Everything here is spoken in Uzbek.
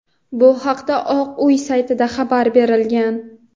Bu haqda Oq uy saytida xabar berilgan.